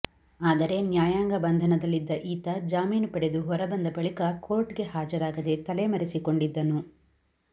ಆದರೆ ನ್ಯಾಯಾಂಗ ಬಂಧನದಲ್ಲಿದ್ದ ಈತ ಜಾಮೀನು ಪಡೆದು ಹೊರಬಂದ ಬಳಿಕ ಕೋರ್ಟ್ ಗೆ ಹಾಜರಾಗದೆ ತಲೆಮರೆಸಿಕೊಂಡಿದ್ದನು